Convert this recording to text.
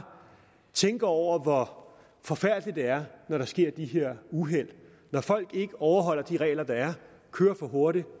tænkt over hvor forfærdeligt det er når der sker de her uheld når folk ikke overholder de regler der er kører for hurtigt